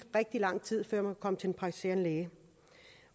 rigtig lang tid før man kunne komme til en praktiserende læge